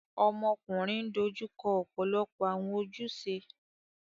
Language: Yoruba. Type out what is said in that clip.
Ọmọkunrin n dojuko ọpọlọpọ awọn ojuse